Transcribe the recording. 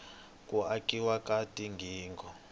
ku akiwa ka tigingho